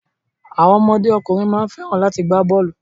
Àwọn ọmọdé ọkùnrin má ń fẹ́ràn láti gbá bọ́ọ̀lù.